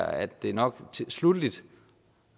at det nok